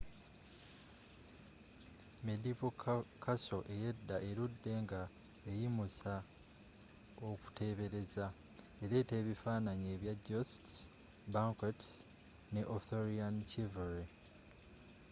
medieval castle eyedda eludde nga eyimusa okutebereza eleeta ebifanaanyi ebya jousts banquets ne arthurian chivalry